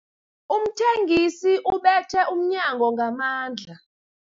Umthengisi ubethe umnyango ngamandla.